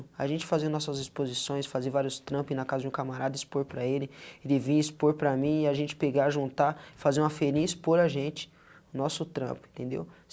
A gente fazer nossas exposições, fazer vários trampos, ir na casa de um camarada, expor para ele, ele vir e expor para mim, e a gente pegar, juntar, fazer uma ferinha e expor a gente, o nosso trampo, entendeu?